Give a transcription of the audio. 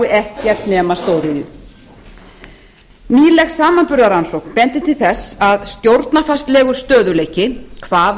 ekkert nema stóriðju nýleg samanburðarrannsókn bendir til þess að stjórnarfarslegur stöðugleiki hvaða